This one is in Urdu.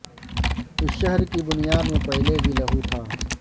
اس شہر کی بنیاد میں پہلے بھی لہو تھا